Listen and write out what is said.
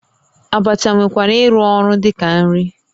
Abacha nwekwara ịrụ ọrụ dị ka nri